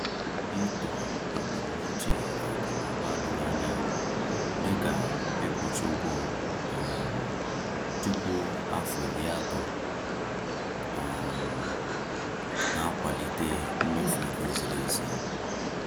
Ịtọ ebumnuche akụ na ụba doro anya, dịka ịkwụchaa ụgwọ um tupu afọ iri atọ, um na-akwalite mmefu ego ziri ezi.